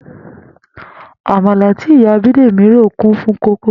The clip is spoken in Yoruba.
Àmàlà tí ìyá Bídèmí rò kún fún kókó